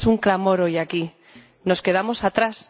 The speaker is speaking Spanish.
Es un clamor hoy aquí. Nos quedamos atrás.